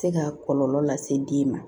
Se ka kɔlɔlɔ lase den ma